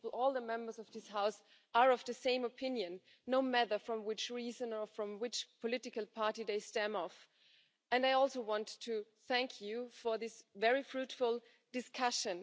the Members of this House are of the same opinion, no matter for which reason or from which political party they belong to, and I also want to thank you for this very fruitful discussion.